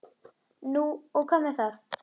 Heyr á endemi.